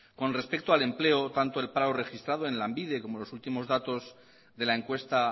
con respecto al empleo tanto el paro registrado en lanbide como lo últimos datos de la encuesta